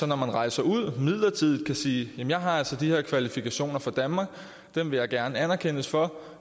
når man rejser ud midlertidigt kan sige jeg har altså de her kvalifikationer fra danmark og dem vil jeg gerne anerkendes for